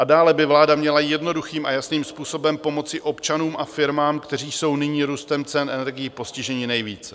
A dále by vláda měla jednoduchým a jasným způsobem pomoci občanům a firmám, kteří jsou nyní růstem cen energií postiženi nejvíce.